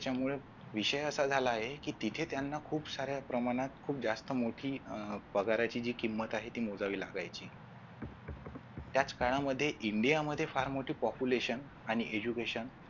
विषय असा झाला आहे कि तिथे त्यांना खूप खूप साऱ्या प्रमाणात खुप जास्त मोठी अं पगाराची जी किंमत आहे ती मोजावी लागायची त्याच काळामध्ये india मध्ये फार मोठी Population आणि Education